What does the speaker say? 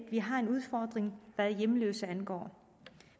at vi har en udfordring hvad hjemløse angår